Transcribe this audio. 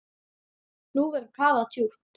Nú verður kafað djúpt.